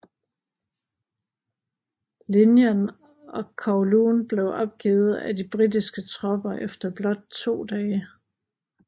Linjen og hele Kowloon blev opgivet af de britiske tropper efter blot to dage